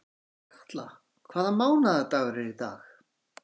Otkatla, hvaða mánaðardagur er í dag?